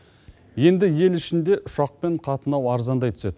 енді ел ішінде ұшақпен қатынау арзандай түседі